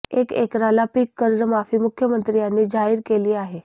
एक एकराला पीक कर्ज माफी मुख्यमंत्री यांनी जाहीर केली आहे